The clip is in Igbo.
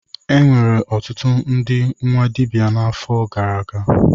Enwere ọtụtụ ndị nwa dibịa n'afọ gara aga.